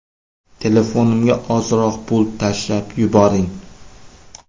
Telefonimga ozroq pul tashlab yuboring”.